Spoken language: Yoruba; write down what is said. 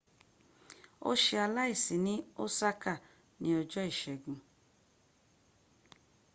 o ṣe aláìsi ní osaka ní ọjọ́ ìségun